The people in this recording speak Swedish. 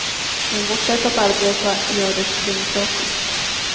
Men vårt sätt att arbeta gör det demokratiskt.